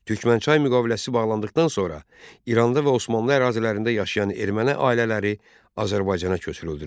Türkmənçay müqaviləsi bağlandıqdan sonra İranda və Osmanlı ərazilərində yaşayan erməni ailələri Azərbaycana köçürüldülər.